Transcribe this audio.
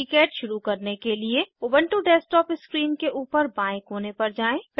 KiCad शुरू करने के लिए उबन्टु डेस्कटॉप स्क्रीन के ऊपर बाएं कोने पर जाएँ